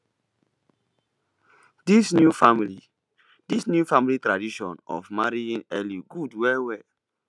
this new family this new family tradition of marrying early good well well